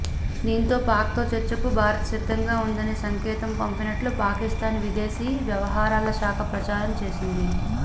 దీంతో పాక్తో చర్చకు భారత్ సిద్ధంగా ఉందనే సంకేతం పంపినట్టు పాకిస్థాన్ విదేశీ వ్యవహారాల శాఖ ప్రచారం చేసింది